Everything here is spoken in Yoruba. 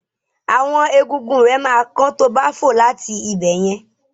Àwọn egungun rẹ ma kán tobá fò láti ibẹ̀yẹn.